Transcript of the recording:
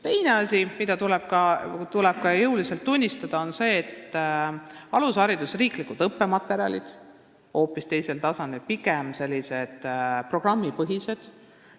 Teine asi, mida tuleb ka tunnistada, on see, et alusharidus ja riiklikud õppematerjalid on hoopis teisel tasandil, pigem programmipõhised.